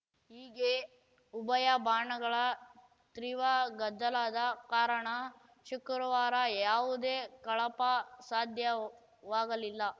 ಹೀಗೆ ಉಭಯ ಬಾಣಗಳ ತ್ರೀವ ಗದ್ದಲದ ಕಾರಣ ಶುಕ್ರವಾರ ಯಾವುದೇ ಕಳಾಪ ಸಾಧ್ಯವಾಗಲಿಲ್ಲ